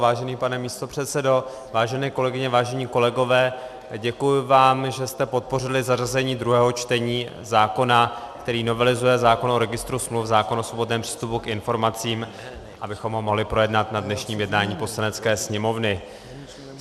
Vážený pane místopředsedo, vážené kolegyně, vážení kolegové, děkuji vám, že jste podpořili zařazení druhého čtení zákona, který novelizuje zákon o registru smluv, zákon o svobodném přístupu k informacím, abychom ho mohli projednat na dnešním jednání Poslanecké sněmovny.